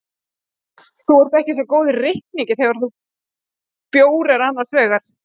Þú ert ekki svo góður í reikningi þegar bjór er annars vegar.